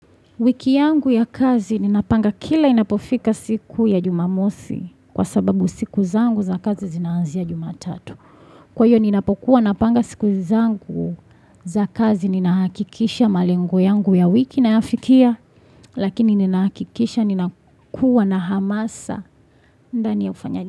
Wiki yangu ya kazi ninapanga kila inapofika siku ya jumamosi kwa sababu siku zangu za kazi zinanzia jumatatu. Kwa hiyo ninapokuwa napanga siku zangu za kazi ninahakikisha malengo yangu ya wiki nayafikia lakini ninahakikisha ninakuwa na hamasa.